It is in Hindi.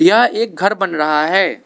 यह एक घर बन रहा है।